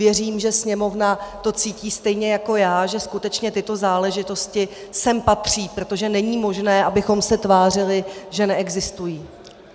Věřím, že Sněmovna to cítí stejně jako já, že skutečně tyto záležitosti sem patří, protože není možné, abychom se tvářili, že neexistují.